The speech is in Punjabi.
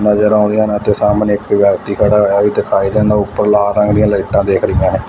ਨਜ਼ਰ ਆਉਂਦੀਆਂ ਨੇ ਤੇ ਸਾਹਮਣੇ ਇੱਕ ਵਿਅਕਤੀ ਖੜਾ ਹੋਇਆ ਦਿਖਾਈ ਦਿੰਦਾ ਉੱਪਰ ਲਾਲ ਰੰਗ ਦੀਆਂ ਲਾਈਟਾਂ ਦੇਖ ਰਹੀਆਂ ਨੇ।